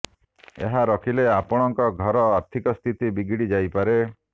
ଏହା ରଖିଲେ ଆପଣଙ୍କ ଘରର ଆର୍ଥିକ ସ୍ଥିତି ବିଗିଡ଼ି ଯାଇପାରେ